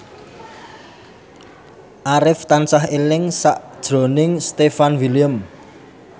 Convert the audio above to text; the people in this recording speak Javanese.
Arif tansah eling sakjroning Stefan William